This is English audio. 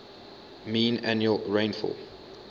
mean annual rainfall